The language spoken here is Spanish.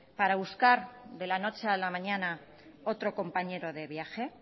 para buscar de la noche a la mañana otro compañero de viaje